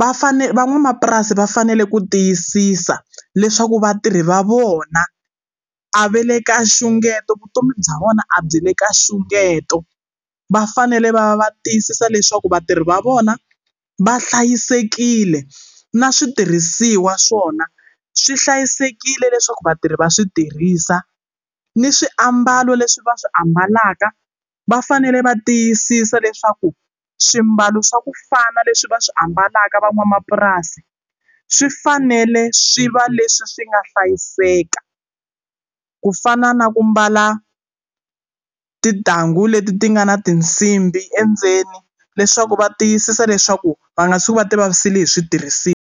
va fanele van'wamapurasi va fanele ku tiyisisa leswaku vatirhi va vona a va le ka xungeto vutomi bya vona a byi le ka xungeto va fanele va va tiyisisa leswaku vatirhi va vona va hlayisekile na switirhisiwa swona swi hlayisekile leswaku vatirhi va swi tirhisa ni swiambalo leswi va swi ambalaka va fanele va tiyisisa leswaku swimbalo swa kufana leswi va swi ambalaka van'wamapurasi swi fanele swi va leswi swi nga hlayiseka ku fana na ku mbala titanghu leti ti nga na tinsimbhi endzeni leswaku va tiyisisa leswaku va nga tshuki va ti vavisile hi switirhisiwa.